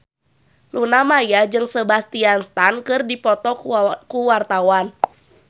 Luna Maya jeung Sebastian Stan keur dipoto ku wartawan